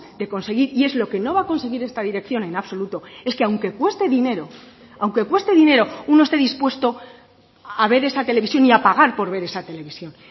de conseguir y es lo que no va a conseguir esta dirección en absoluto es que aunque cueste dinero aunque cueste dinero uno esté dispuesto a ver esa televisión y a pagar por ver esa televisión